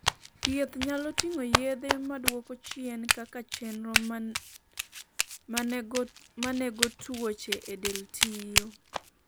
thieth nyalo ting'o yedhe maduoko chien kaka chenro manego tuoche e del tiyo